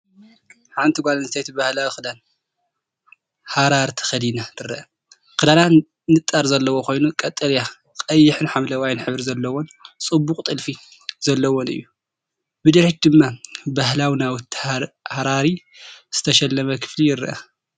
ሓንቲ ጓል ኣንስተይቲ ባህላዊ ክዳን ሃራሪ ተኸዲና ትርአ። ክዳና ንጣር ዘለዎ ኮይኑ፡ ቀጠልያ፡ ቀይሕን ሐምላይን ሕብሪ ዘለዎን ጽቡቕ ጥልፊ ዘለዎን እዩ። ብድሕሪት ድማ ብባህላዊ ናውቲ ሃራሪ ዝተሸለመ ክፍሊ ይርአ።